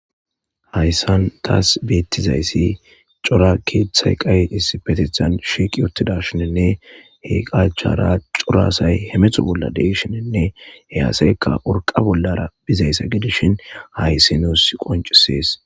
Hayssan tas beetizayssi cora keeththay iqay issippeteththan shiiqi uttidaashininne he iqqa achchara hemetho bolla de'shininne he asaykka urqqa bollara bizayssa gidishin hayssi nuusi qonccees.